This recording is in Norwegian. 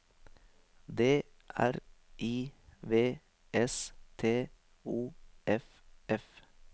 D R I V S T O F F